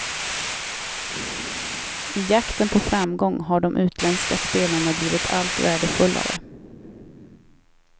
I jakten på framgång har de utländska spelarna blivit allt värdefullare.